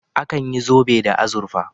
Akan yi zobe da azurfa